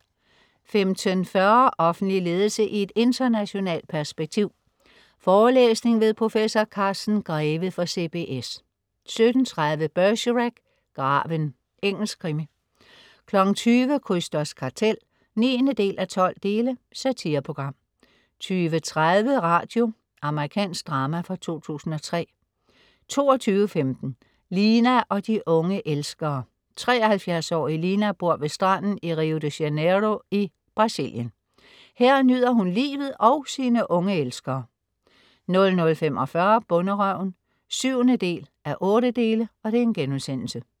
15.40 Offentlig ledelse i et internationalt perspektiv. Forelæsning ved prof. Carsten Greve fra CBS 17.30 Bergerac: Graven. Engelsk krimi 20.00 Krysters kartel 9:12. Satireprogram 20.30 Radio. Amerikansk drama fra 2003 22.15 Lina og de unge elskere. 73-årige Lina bor ved stranden i Rio de Janeiro i Brasilien. Her nyder hun livet og sine unge elskere 00.45 Bonderøven 7:8*